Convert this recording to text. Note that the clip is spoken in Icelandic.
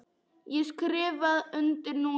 Ég skrifa undir núna.